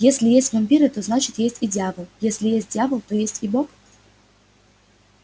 если есть вампиры то значит есть и дьявол если есть дьявол то есть и бог